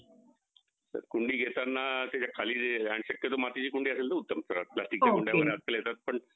कुंडी घेताना त्याच्या खाली जे आणि शक्यतो मातीची कुंडी असेल तर उत्तम plastic च्या कुंड्या आजकाल येतात पण